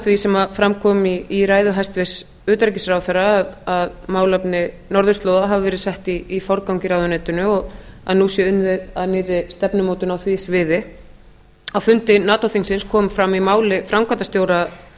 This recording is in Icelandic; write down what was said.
því sem fram kom í ræðu hæstvirts utanríkisráðherra að málefni norðurslóða hafi verið sett í forgang í ráðuneytinu og nú sé unnið að nýrri stefnumótun á því sviði á fundi nato þingsins kom fram í máli framkvæmdarstjóra